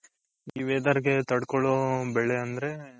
ಈ weather ಗೆ ತಡ್ಕೋಳೋ ಬೆಳೆ ಅಂದ್ರೆ,